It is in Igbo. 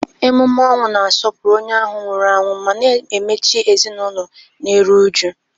Emume ọnwụ na-asọpụrụ onye ahụ nwụrụ anwụ ma na-emechi ezinụlọ na-eru uju.